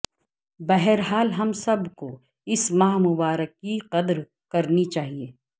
بہرحال ہم سب کو اس ماہ مبارک کی قدر کرنی چاہیے